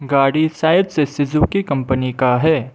गाड़ी शायद से सुजुकी कंपनी का है।